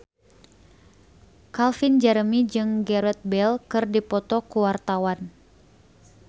Calvin Jeremy jeung Gareth Bale keur dipoto ku wartawan